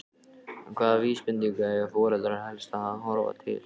En hvaða vísbendinga eiga foreldrar helst að horfa til?